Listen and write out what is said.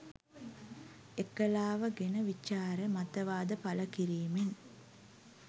එකලාව ගෙන විචාර මතවාද පළ කිරීමෙන්